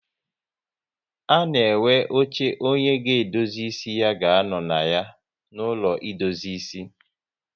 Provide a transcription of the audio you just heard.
A na enwe oche onye a ga-edozi ịsị ga anọ na ya n'ụlọ edozi ịsị